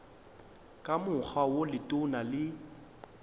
ka mokgwa wo letona le